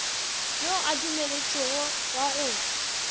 yo a dumeletšwego wa go